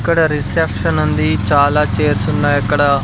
ఇక్కడ రిసెప్షన్ ఉంది చాలా చేర్స్ ఉన్నాయక్కడ.